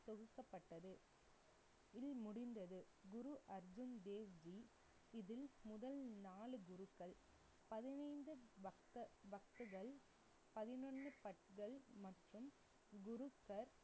தொகுக்கப்பட்டது, இல் முடிந்தது. குரு அர்ஜன் தேவ்ஜி இதில் முதல் நாலு குருக்கள். பதினைந்து, பக்த~ பக்தர்கள், பதினொண்ணு பத்கள் மற்றும் குருப்பர்